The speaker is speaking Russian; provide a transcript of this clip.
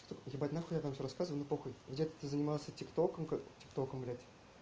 ебать нахуй я там всё рассказываю ну похуй где ты занимался тик током как тик током блять